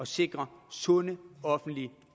sikre sunde offentlige